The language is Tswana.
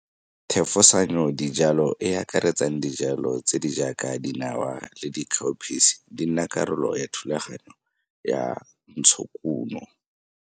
Thefosanyodijalo, e e akaretsang dijalo tse di jaaka dinawa le dikhaophisi, di nna karolo ya thulaganyo ya ntshokuno.